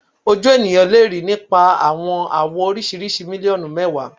Oju eniyan le rii nipa awọn awọ oriṣiriṣi miliọnu mẹwa